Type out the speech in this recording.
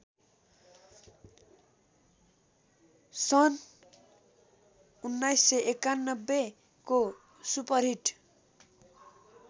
सन् १९९१ को सुपरहिट